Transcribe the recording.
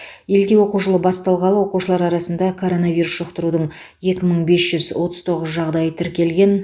елде оқу жылы басталғалы оқушылар арасында коронавирус жұқтырудың екі мың бес жүз отыз тоғыз жағдайы тіркелген